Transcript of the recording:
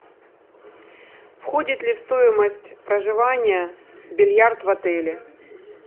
входит ли в стоимость проживания бильярд в отеле